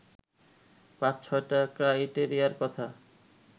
৫-৬টা ক্রাইটেরিয়ার কথা